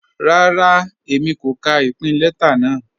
Rárá, Èmi kò kà ìpìn lẹta náà.